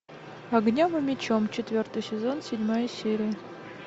огнем и мечом четвертый сезон седьмая серия